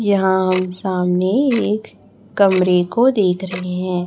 यहां हम सामने एक कमरे को देख रहे हैं।